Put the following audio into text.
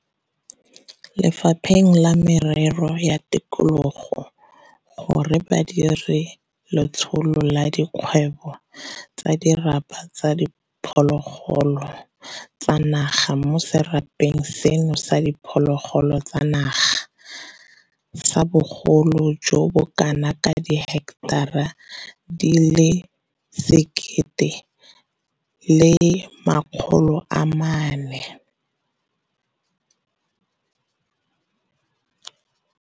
Le fapheng la Merero ya Tikologo gore ba dire letsholo la dikgwebo tsa dirapa tsa diphologolo tsa naga mo serapeng seno sa diphologolo tsa naga sa bogolo jo bo kanaka diheketara di le 1 400.